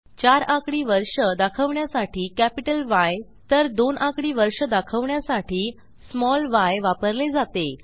चार आकडी वर्ष दाखवण्यासाठी कॅपिटल य तर दोन आकडी वर्ष दाखवण्यासाठी स्मॉल य वापरले जाते